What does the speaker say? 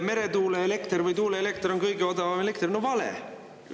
Meretuuleelekter või tuuleelekter on kõige odavam elekter – vale!